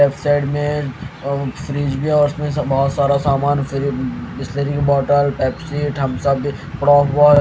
left side में और fridge भी और उसमें बहोत सारा सामान फ्रिज बिसलेरी का बॉटल पेप्सी थम्स अप पड़ा हुआ--